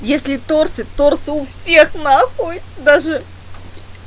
если торты торты у всех на хуй даже